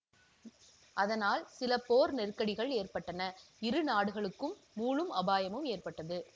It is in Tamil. அதனால் சில போர் நெருக்கடிகள் ஏற்பட்டன இரு நாடுகளுக்கும் மூழும் அபாயமும் ஏற்பட்டது